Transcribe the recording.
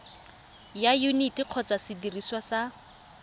ya yuniti kgotsa sediriswa sa